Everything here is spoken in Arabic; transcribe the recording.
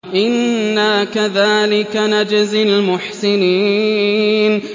إِنَّا كَذَٰلِكَ نَجْزِي الْمُحْسِنِينَ